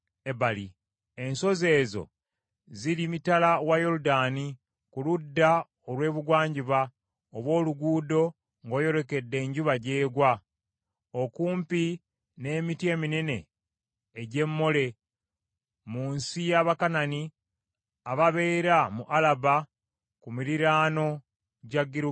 Ensozi ezo ziri mitala wa Yoludaani ku ludda olw’ebugwanjuba obw’oluguudo ng’oyolekedde enjuba gy’egwa, okumpi n’emiti eminene egy’e Mole, mu nsi y’Abakanani ababeera mu Alaba ku miriraano gya Girugaali.